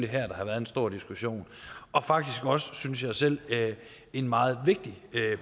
her der har været en stor diskussion og faktisk også synes jeg selv en meget vigtig